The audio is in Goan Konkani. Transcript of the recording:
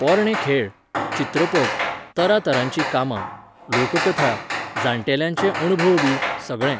पोरणे खेळ, चित्रपट, तरातरांचीं कामां, लोककथा, जाणटेल्यांचे अणभवबी, सगळें.